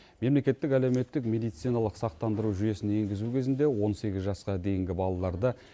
мемлекеттік әлеуметтік медициналық сақтандыру жүйесін енгізу кезінде он сегіз жасқа дейінгі балаларды